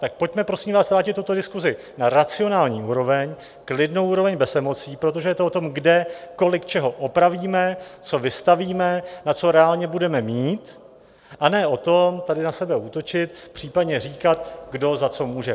Tak pojďme, prosím vás, vrátit tuto diskusi na racionální úroveň, klidnou úroveň bez emocí, protože je to o tom, kde, kolik, čeho opravíme, co vystavíme, na co reálně budeme mít, a ne o tom tady na sebe útočit, případně říkat, kdo za co může.